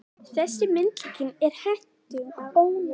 Þessi myndlíking er hentug, en ónákvæm.